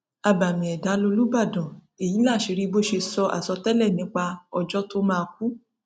abàmì ẹdá lolúbádàn èyí láṣìírí bó ṣe sọ àsọtẹlẹ nípa ọjọ tó máa kú